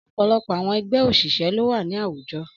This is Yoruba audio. Ọ̀pọ̀lọpọ̀ àwọn ẹgbẹ́ òṣìṣẹ́ ló wà ní àwùjọ.